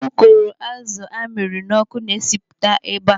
Ukoro azụ amịrị n'ọkụ na-esipụta ebe a.